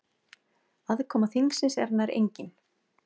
Aðkoma þingsins er nær engin.